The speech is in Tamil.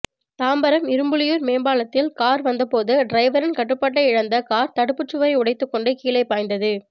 தாம்பரம் இரும்புலியூர் மேம்பாலத்தில் கார் வந்தபோது டிரைவரின் கட்டுப்பாட்டை இழந்த கார் தடுப்புச் சுவரை உடைத்துக் கொண்டு கீழே பாய்ந்தது